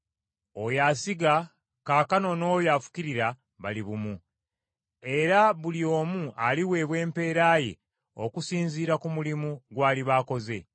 Oyo asiga kaakano n’oyo afukirira bali bumu, era buli omu aliweebwa empeera ye okusinziira ku mulimu gw’aliba akoze.